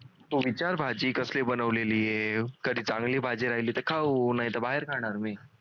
तू विचार भाजी कसली बनवलेली आहे कधी चांगली भाजी राहली तर खाऊ नाही तर बाहेर खाणार मी